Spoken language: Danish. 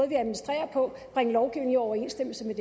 vi administrerer på i overensstemmelse med